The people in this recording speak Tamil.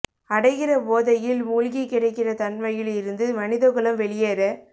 அடைகிற போதையில் மூழ்கி கிடக்கிற தன்மையில் இருந்து மனித குலம் வெளியேற